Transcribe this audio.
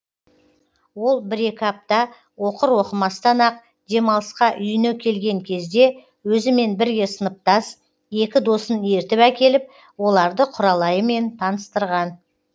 ол бір екі апта оқыр оқымастан ақ демалысқа үйіне келген кезде өзімен бірге сыныптас екі досын ертіп әкеліп оларды құралайымен таныстырған